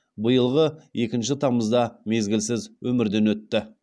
биылғы екінші тамызда мезгілсіз өмірден өтті